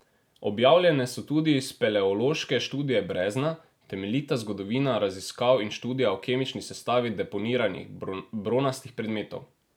Objavljene so tudi speleološke študije brezna, temeljita zgodovina raziskav in študija o kemični sestavi deponiranih bronastih predmetov.